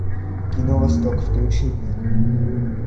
кино восток включи мне